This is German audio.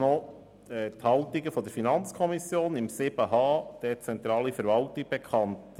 Ich gebe Ihnen die Haltung der FiKo zum Themenblock 7.h Dezentrale Verwaltung bekannt.